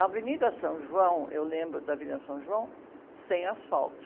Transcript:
A Avenida São João, eu lembro da Avenida São João, sem asfalto.